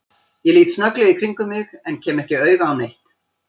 Ég lít snögglega í kringum mig en kem ekki auga á neitt.